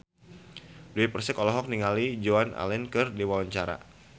Dewi Persik olohok ningali Joan Allen keur diwawancara